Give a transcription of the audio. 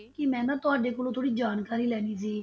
ਕਿ ਮੈ ਨਾ ਤੁਹਾਡੇ ਕੋਲੋਂ ਥੋੜੀ ਜਾਣਕਾਰੀ ਲੈਣੀ ਸੀ,